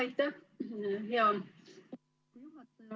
Aitäh, hea juhataja!